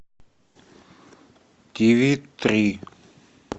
тв три